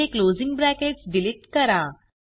येथे closing brackets delete करा